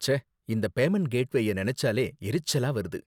ச்சே, இந்த பேமண்ட் கேட்வேய நினைச்சாலே எரிச்சலா வருது.